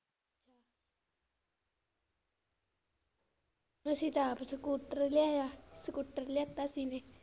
ਤੁਸੀਂ ਤਾਂ ਆਪ ਸਕੂਟਰ ਲਿਆਇਆ ਸਕੂਟਰ ਲਿਆਤਾ ਸੀ .